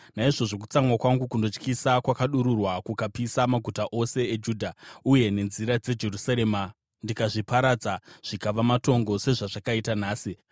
Naizvozvo kutsamwa kwangu kunotyisa kwakadururwa; kukapisa maguta eJudha uye nenzira dzeJerusarema ndikazviparadza zvikava matongo sezvazvakaita nhasi.